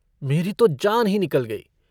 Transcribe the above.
मेरी तो जान ही निकल गयी।